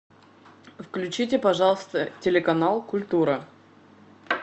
включите пожалуйста телеканал культура